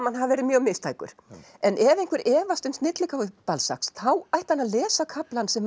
hann hafi verið mjög mistækur en ef einhver efast um snilligáfu þá ætti hann að lesa kaflann sem